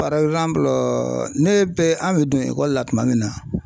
ne bɛ an bɛ don ekɔli la tuma min na.